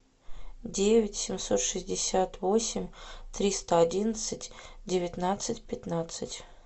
девять семьсот шестьдесят восемь триста одиннадцать девятнадцать пятнадцать